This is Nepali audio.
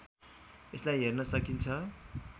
यसलाई हेर्न सकिन्छ